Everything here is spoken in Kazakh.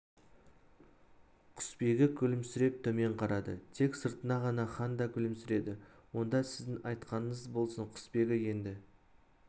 құсбегі күлімсіреп төмен қарады тек сыртына ғана хан да күлімсіреді онда сіздің айтқаныңыз болсын құсбегі енді